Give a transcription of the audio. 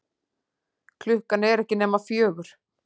Klukkan er ekki nema fjögur.